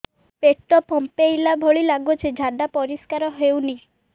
ପେଟ ଫମ୍ପେଇଲା ଭଳି ଲାଗୁଛି ଝାଡା ପରିସ୍କାର ହେଉନି